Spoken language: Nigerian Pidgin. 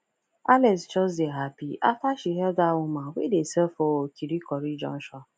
alex just dey happy after she help that woman wey dey sell for kirikori junction